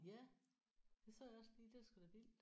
Ja det så jeg også lige det er sgu da vildt